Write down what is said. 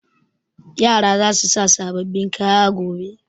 Yara za su sa sababbin kaya gobe.